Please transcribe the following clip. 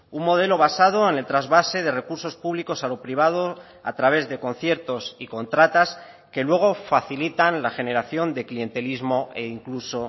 un modelo basado en el trasvase de recursos públicos a lo privado a través de conciertos y contratas que luego facilitan la generación de clientelismo e incluso